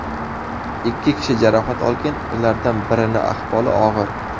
Ikki kishi jarohat olgan, ulardan birini ahvoli og‘ir.